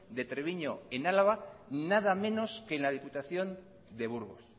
de treviño en álava nada menos que en la diputación de burgos